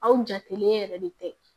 Aw jatelen yɛrɛ de tɛ